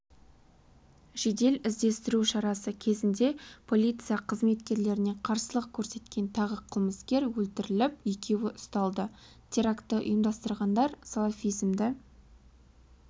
жедел-іздестіру шарасы кезінде полиция қызметкерлеріне қарсылық көрсеткен тағы қылмыскер өлтіріліп екеуі ұсталды терактті ұйымдастырғандар салафизмді